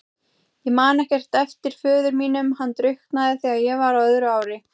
Ég man ekkert eftir föður mínum, hann drukknaði þegar ég var á öðru ári.